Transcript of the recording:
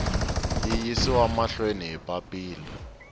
yi yisiwa mahlweni hi papila